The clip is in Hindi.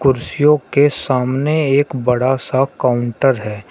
कुर्सियों के सामने एक बड़ा सा काउंटर है।